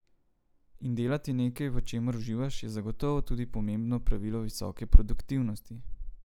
In delati nekaj, v čemer uživaš, je zagotovo tudi pomembno pravilo visoke produktivnosti.